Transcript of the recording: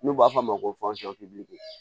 N'u b'a f'a ma ko